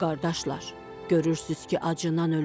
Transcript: Qardaşlar, görürsüz ki, acından ölürük.